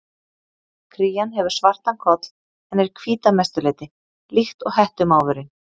Krían hefur svartan koll en er hvít að mestu leyti, líkt og hettumávurinn.